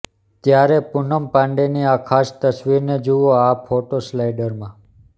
ત્યારે પૂનમ પાંડેની આ ખાસ તસવીરોને જુઓ આ ફોટોસ્લાઇડરમાં